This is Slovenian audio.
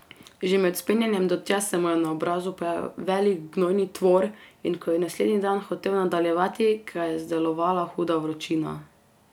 Že med vzpenjanjem do tja se mu je na obrazu pojavil velik gnojni tvor, in ko je naslednji dan hotel nadaljevati, ga je zdelovala huda vročina.